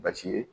Basi ye